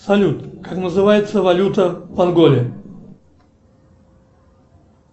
салют как называется валюта монголии